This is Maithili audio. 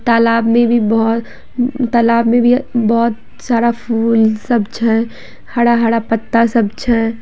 तालाब में भी बहो तालाब में भी बहुत सारा फूल सब छे हरा-हरा पत्ता सब छे।